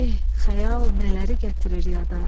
Eh, xəyal nələri gətirir yada.